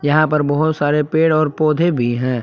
यहां पर बहोत सारे पेड़ और पौधे भी हैं।